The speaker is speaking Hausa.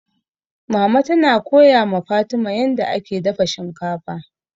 Mama tana koya ma Fatima yanda ake dafa shinkafa.